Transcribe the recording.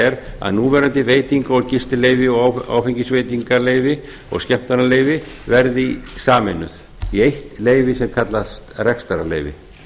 er að núverandi veita og gistileyfi og áfengisveitingaleyfi og skemmtanaleyfi verði sameinuð í eitt leyfi sem kallast rekstrarleyfi